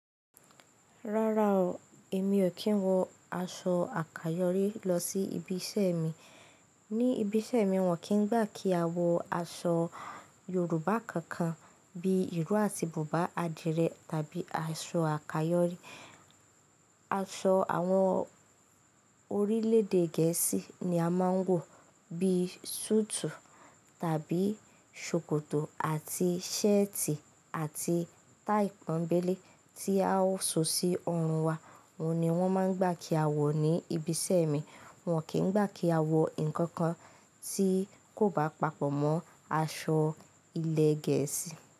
Rárá o, èmi ò kí ń wọ aṣọ àkayọ̀rí lọ sí ibi iṣẹ́ mi. Ni ibi iṣẹ́ mi, wọ́n kì í gbà kí a wọ aṣọ Yorùbá kankan bí ìró àti bùbá adìrẹ tàbí aṣọ àkayọ̀rí. Aṣọ àwọn orílẹ̀èdè Gẹ̀ẹ́sì ni a máa ń wọ bí sùùtù tàbí ṣòkòtò àti ṣẹ́ẹ̀tì àti táì pọ́nbélé tí a ó so sí ọrùn wa. Ohun ni wọ́n máa ń gbà kí a wọ̀ ní ibi iṣẹ́ mi. Wọ́n kì í gbà kí a wọ ǹkan kan tí kò bá papọ̀ mọ́ aṣọ ilẹ̀ Gẹ̀ẹ́sì.